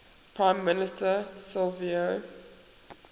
prime minister silvio